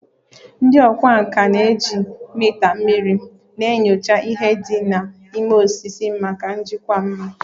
Ndị ọkwá nkà na-eji mita mmiri na-enyocha ihe dị na ime osisi maka njikwa mma